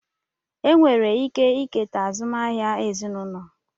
Enwere ike eketa azụmahịa ezinụlọ